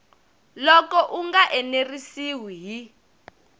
loko u nga enerisiwi hi